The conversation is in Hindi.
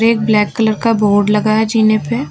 एक ब्लैक कलर का बोर्ड लगा है जीने पे।